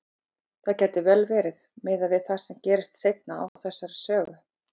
Það gæti vel verið, miðað við það sem gerist seinna í þessari sögu.